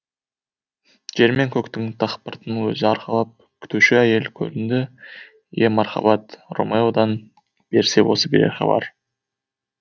жер мен көктің дақпыртын өзі арқалап күтуші әйел көрінді ие марқабат ромеодан берсе осы берер хабар